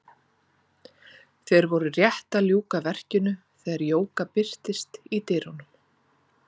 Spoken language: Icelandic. Þeir voru rétt að ljúka verkinu þegar Jóka birtist í dyrunum.